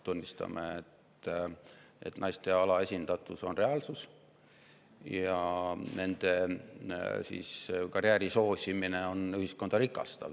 Tunnistame, et naiste alaesindatus on reaalsus ja nende karjääri soosimine on ühiskonda rikastav.